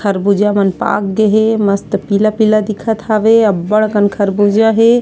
खरबूजा मन पाक गे हे मस्त पीला-पीला दिखत हवे अउ अब्बड़ खरबूजा हे।